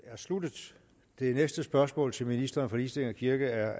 er sluttet det næste spørgsmål til ministeren for ligestilling og kirke er